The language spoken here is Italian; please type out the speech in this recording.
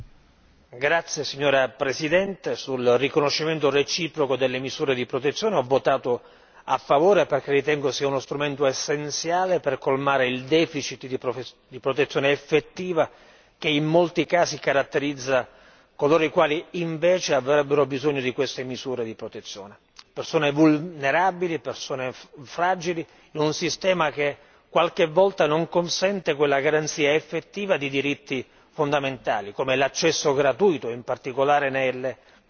Signora Presidente, onorevoli colleghi, sul riconoscimento reciproco delle misure di protezione in materia civile ho votato a favore, perché ritengo che sia uno strumento essenziale per colmare il deficit di protezione effettiva che in molti casi caratterizza coloro i quali invece avrebbero bisogno di queste misure di protezione, persone vulnerabili e persone fragili in un sistema che qualche volta non consente quella garanzia effettiva di diritti fondamentali come l'accesso gratuito in particolare nelle controversie